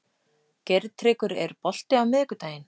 Geirtryggur, er bolti á miðvikudaginn?